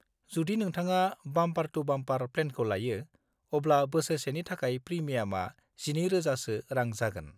जुदि नोंथाङा बाम्पार-टु-बाम्पार प्लेनखौ लायो, अब्ला बोसोरसेनि थाखाय प्रिमियामा 12,000 सो रां जागोन।